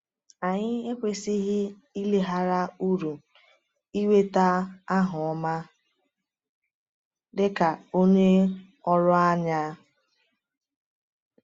Anyị ekwesịghị ileghara uru ịnweta aha ọma dị ka onye ọrụ anya.